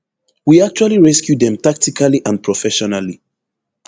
we actually rescue dem tactically and professionally